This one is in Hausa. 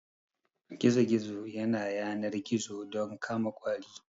Gizo gizo yana yanar gizo don kama ƙwari